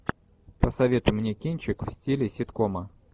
посоветуй мне кинчик в стиле ситкома